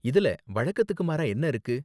இதுல வழக்கத்துக்கு மாறா என்ன இருக்கு?